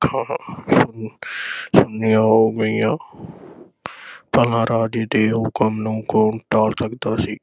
ਅੱਖਾਂ ਚੁੰਨ੍ਹੀਆਂ ਹੋ ਗਈਆਂ ਭਲਾ ਰਾਜੇ ਦੇ ਹੁਕਮ ਨੂੰ ਕੌਣ ਟਾਲ ਸਕਦਾ ਸੀ?